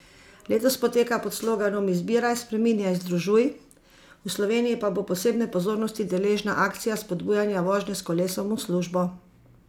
Letos poteka pod sloganom Izbiraj, spreminjaj, združuj, v Sloveniji pa bo posebne pozornosti deležna akcija spodbujanja vožnje s kolesom v službo.